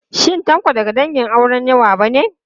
Shin Tanko daga dangin auren yawa ba ne?